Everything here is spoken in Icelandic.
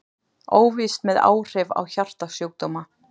Óvíst með áhrif á hjartasjúkdóma